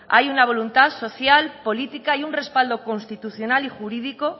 hay una voluntad social política y un respaldo constitucional y jurídico